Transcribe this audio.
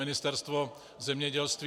Ministerstvo zemědělství...